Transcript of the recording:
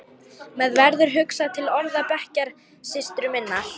Mér verður hugsað til orða bekkjarsystur minnar.